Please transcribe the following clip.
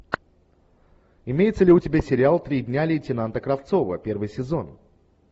имеется ли у тебя сериал три дня лейтенанта кравцова первый сезон